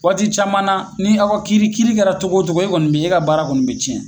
Waati caman na ni aw ka kiri kiri kɛra togo togo e kɔni bi e ka baara kɔni bɛ tiɲɛ.